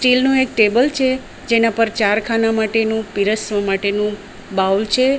Steel નું એક table છે જેના પર ચાર ખાના માટેનું પિરસવા માટેનું બાઉલ છે.